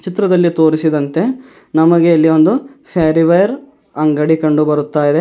ಚಿತ್ರದಲ್ಲಿ ತೋರಿಸಿದಂತೆ ನಮಗೆ ಇಲ್ಲಿ ಒಂದು ಪೇರಿವೆರ್ ಅಂಗಡಿ ಕಂಡು ಬರುತ್ತಾ ಇದೆ.